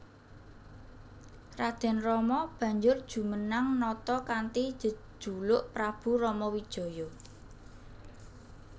Raden Rama banjur jumenang nata kanthi jejuluk Prabu Ramawijaya